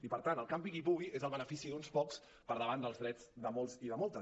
i per tant el campi qui pugui és el benefici d’uns pocs per davant dels drets de molts i de moltes